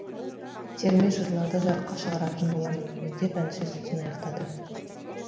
терме жырларды жарыққа шығаратын боламын деп әнші сөзін аяқтады